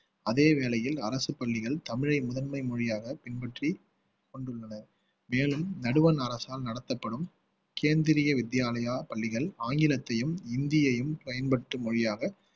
அதே வேளையில் அரசு பள்ளிகள் தமிழை முதன்மை மொழியாக பின்பற்றி கொண்டுள்ளன மேலும் நடுவண் அரசால் நடத்தப்படும் கேந்திரிய வித்யாலயா பள்ளிகள் ஆங்கிலத்தையும் ஹிந்தியையும் பயன்படுத்தும் மொழியாக